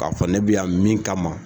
K'a fɔ ne bɛ yan min kama